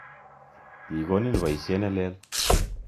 Kigonin poisyet ne lel.